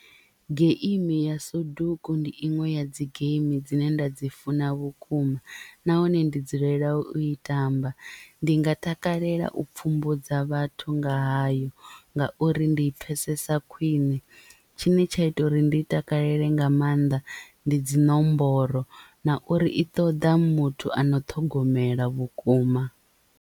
Geimi ya soduku ndi iṅwe ya dzi geimi dzine nda dzi funa vhukuma nahone ndi dzulela u i tamba. Ndi nga takalela u pfhumbudza vhathu nga hayo ngauri ndi I pfhesesa khwiṋe tshine tsha ita uri ndi i takalela nga maanḓa ndi dziṋomboro na uri i ṱoḓa muthu ano ṱhogomela vhukuma.